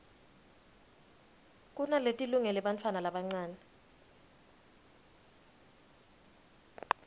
kunaletilungele bantfwana labancane